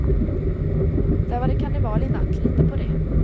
Där var det karneval i natt, lita på det.